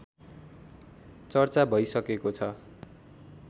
चर्चा भइसकेको छ